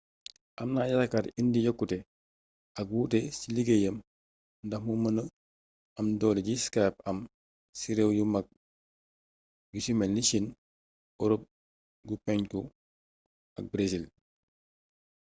amna yaakaar indi yokkute ak wuute ci liggéeyam ndax mu mëna am doole ji skype am ci réew yu mag yu ci melni chine europe gu penku ak brésil